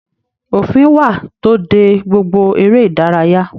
Òfin wà to dé gbogbo eré ìdárayá.